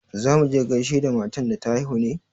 Za mu je gaishe da matan da ta haihu ne?